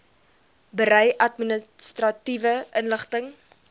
berei administratiewe inligting